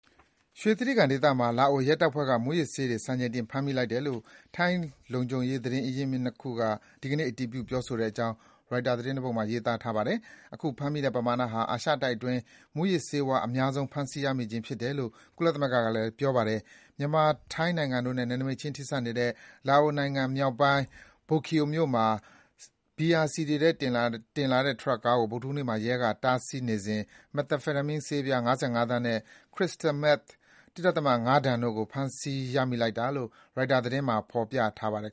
ရွှေတြိဂံဒေသမှာ လာအိုရဲတပ်ဖွဲ့က မူးယစ်ဆေးတွေ စံချိန်တင်ဖမ်းမိလိုက်တယ်လို့ ထိုင်းလုံခြုံရေးသတင်းရင်းမြစ်နှစ်ခုက ဒီကနေ့ အတည်ပြု ပြောဆိုတဲ့အကြောင်း ရိုက်တာသတင်းတပုဒ်မှာ ရေးထားပါတယ်။ အခုဖမ်းမိတဲ့ပမာဏဟာ အာရှတိုက်အတွင်း မူးယစ်ဆေးဝါး အများဆုံး ဖမ်းဆီးရမိခြင်းဖြစ်တယ်လို့ ကုလသမဂ္ဂကလည်း ပြောပါတယ်။ မြန်မာ-ထိုင်းနိုင်ငံတို့နဲ့ နယ်နိမိတ်ခြင်း ထိစပ်နေတဲ့ လာအိုနိုင်ငံမြောက်ပိုင်း Bokeo မြို့မှာ ဘီယာစည်တွေတင်လာတဲ့ ထရပ်ကားကို ဗုဒ္ဓဟူးနေ့မှာ လာအိုရဲက တားဆီးစစ်ဆေးစဉ် Methamphetamine ဆေးပြား ၅၅ သန်းနဲ့ Crystal Meth ၁.၅ တန်တို့ကို ဖမ်းဆီး ရမိလိုက်တာလို့ ရိုက်တာသတင်းမှာ ဖော်ပြထားပါတယ်